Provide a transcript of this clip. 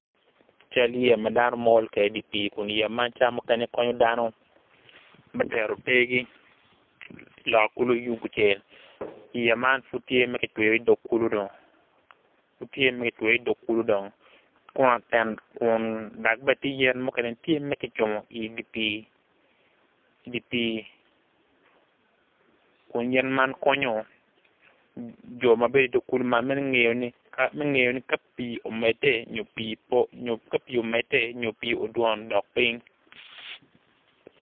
Cal yeya madono mol kwede i di pi kun yeya man cawa mukene konyo dano me tero tergi i loka kulo lung tucel yeya man pud tye pud gutweyo i dog kulu dong dok bene tye yen mukene tye ma gucung idi pi kun yen man konyo jo ma bedo i dog kulu man mangeyo ni ka pu omede nyo pi odwon odok ping.